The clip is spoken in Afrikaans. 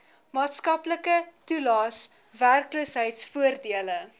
maatskaplike toelaes werkloosheidvoordele